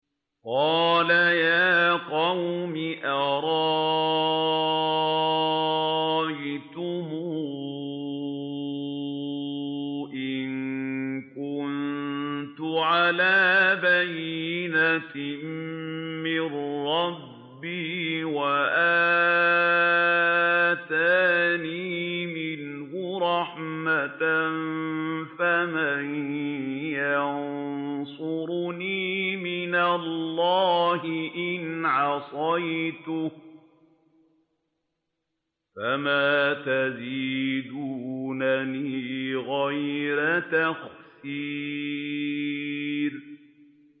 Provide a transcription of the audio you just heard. قَالَ يَا قَوْمِ أَرَأَيْتُمْ إِن كُنتُ عَلَىٰ بَيِّنَةٍ مِّن رَّبِّي وَآتَانِي مِنْهُ رَحْمَةً فَمَن يَنصُرُنِي مِنَ اللَّهِ إِنْ عَصَيْتُهُ ۖ فَمَا تَزِيدُونَنِي غَيْرَ تَخْسِيرٍ